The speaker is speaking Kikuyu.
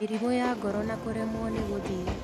Mĩrimũ ya ngoro na kũremwo nĩgũthiĩ